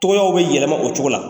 Tow bɛ yɛlɛma o cogo la